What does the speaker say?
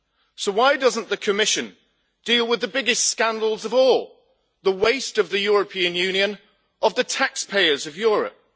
So why doesn't the Commission deal with the biggest scandals of all the waste of the European Union of the taxpayers of Europe?